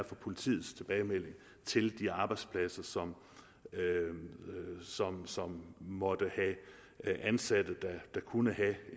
for politiets tilbagemelding til de arbejdspladser som som måtte have ansatte der kunne have